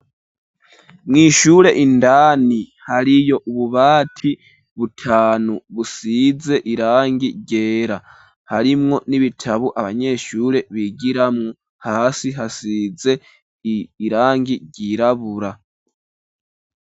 Mw'ishure indani hariyo ububati butanu busize irangi ryera harimwo n'ibitabu abanyeshure bigira mu hasi hasize irangi ryirabura.